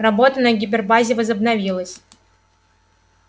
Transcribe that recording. работа на гипербазе возобновилась